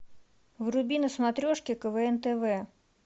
вруби на смотрешке квн тв